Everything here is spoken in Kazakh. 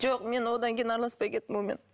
жоқ мен одан кейін араласпай кеттім онымен